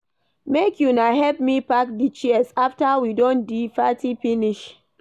Make una help me pack di chairs after we don do di party finish.